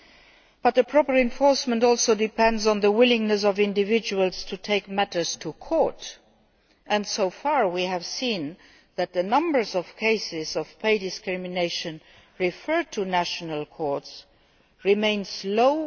However, proper enforcement also depends on the willingness of individuals to take matters to court, and so far we have seen that, in most Member States, the number of cases of pay discrimination referred to national courts remains low.